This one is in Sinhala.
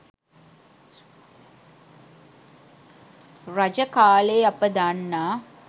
රජ කාලයේ අප දන්නා